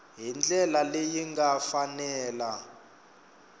hi ndlela leyi nga fanela